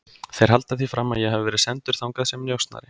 Þeir halda því fram að ég hafi verið sendur þangað sem njósnari